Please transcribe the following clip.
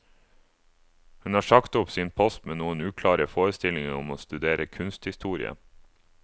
Hun har sagt opp sin post med noen uklare forestillinger om å studere kunsthistorie.